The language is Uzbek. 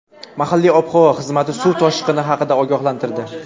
Mahalliy ob-havo xizmati suv toshqini haqida ogohlantirdi.